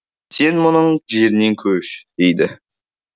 сен мұның жерінен көш дейді